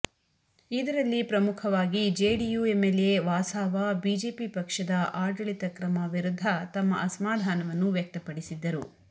ಇದರಲ್ಲಿ ಪ್ರಮುಖವಾಗಿ JDU MLA Vasava BJP ಪಕ್ಷದ ಆಡಳಿತ ಕ್ರಮ ವಿರುದ್ಧ ತಮ್ಮ ಅಸಮಾಧಾನವನ್ನು ವ್ಯಕ್ತಪಡಿಸಿದ್ದರು